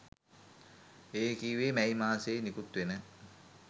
ඒ කිව්වේ මැයි මාසයේ නිකුත්වෙන